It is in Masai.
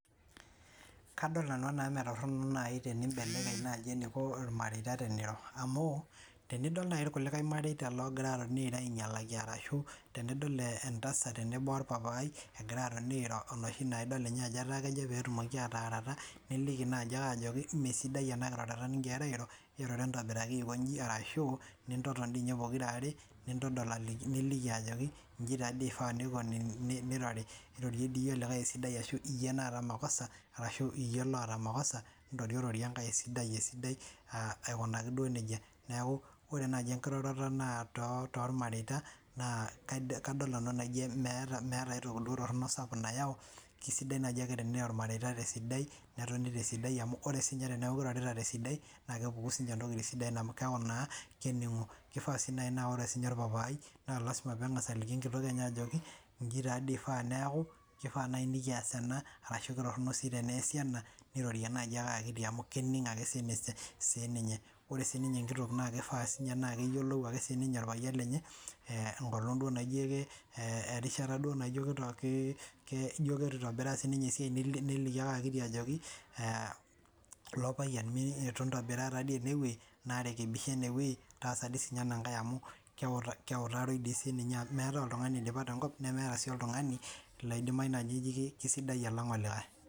Kadol nanu anaa metorhono nai eneiko ilmareita teneiro amu twnidol nai kulie mareita loogira atoni airo ainyalaki ashu tenidol entasat tenebo opapai egira airo enoshi naa ninye ajo ketaa kejo peetumoki ataarata niliki nai ajoki meesidai ena kiroroto nigirara airo Eroro entobiraki ashu nintoton diininye pokira are niliki ajoki inji taadii ifaa nirori irorie dii iyie olikai esidai ashu iyie oota mokoso pitum airorie engae esidai akikunaki duo nija Niaku ore nai engiroroto naa tolmareita kadol nanu enaa meeta aitoki nayai tolmareita tesidai netoni tesidai amu ore siininye teniaku irorita tesidai naa kepuku siininje intokiting sidai amu kifaa sii nai naa ore siininye papai naa ore piilosea nejoki inchi taadii ifaa neeku, kifaa neeku nikias ena arashu teneesi ena nirori ake nai akiti amu kenig' ake siininye Ore siininye enkitok naa kifaa siininye naa keyiolou ake siininye olpayian lenye enkolong' duo naijo keitu itobiraa esiai neliki ake ajo ajoki lopayian eitu intobiraa taadii enewuei naarekebisha enewei naa todua dii siininye amu keutari dii siininye amu meetai oltung'ani oidipa tenkop temetai oltung'ani oji sidai alang olikai